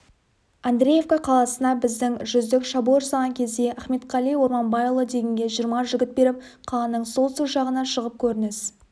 андреевка қаласына біздің жүздік шабуыл жасаған кезде ахметқали орманбайұлы дегенге жиырма жігіт беріп қаланың солтүстік жағына шығып көрініс